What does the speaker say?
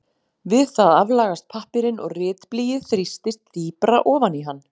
Við það aflagast pappírinn og ritblýið þrýstist dýpra ofan í hann.